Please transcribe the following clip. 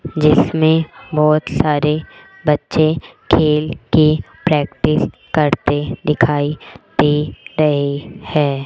जिसमें बहोत सारे बच्चे खेल की प्रैक्टिस करते दिखाई दे रही है।